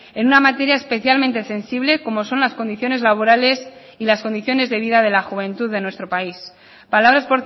en una materia especialmente sensible como son las condiciones laborales y las condiciones de vida de la juventud de nuestro país palabras